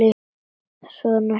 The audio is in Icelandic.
Svo hringdi vinkona mín.